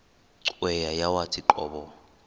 cweya yawathi qobo